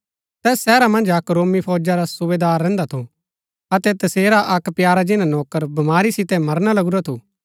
तैस शहरा मन्ज अक्क रोमी फौजा रा सुबेदार रहन्‍दा थू अतै तसेरा अक्क प्यारा जिन्‍ना नौकर बमारी सितै मरना लगुरा थू